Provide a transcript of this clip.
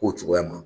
K'o cogoya ma